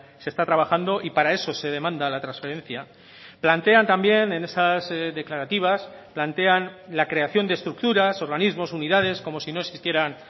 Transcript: se está trabajando y para eso se demanda la transferencia plantean también en esas declarativas plantean la creación de estructuras organismos unidades como si no existieran